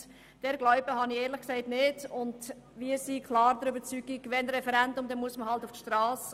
Wir sind klar der Überzeugung, dass wir auf die Strasse gehen müssten, falls es zu einem fakultativen Referendum kommen sollte.